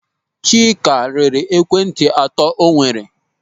Chika rere ekwentị atọ o nwere.